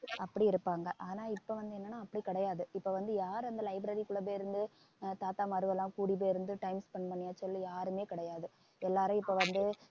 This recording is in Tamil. அப்பிடி இருப்பாங்க ஆனா இப்ப வந்து என்னன்னா அப்படி கிடையாது இப்ப வந்து யார் அந்த library க்குள்ள போயிருந்து ஆஹ் தாத்தாமார்கெல்லாம் கூடிப்போயிருந்து time spend பண்ணியாச்சுன்னு யாருமே கிடையாது எல்லாரும் இப்ப வந்து